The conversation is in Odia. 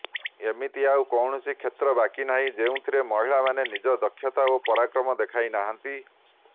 ଏମିତି ଆଉ କୌଣସି କ୍ଷେତ୍ର ବାକି ନାହିଁ ଯେଉଁଥିରେ ମହିଳାମାନେ ନିଜ ଦକ୍ଷତା ଏବଂ ପରାକ୍ରମ ଦେଖାଇନାହାନ୍ତି